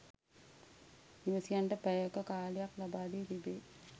නිවැසියන්ට පැය ක කාලයක් ලබාදී තිබේ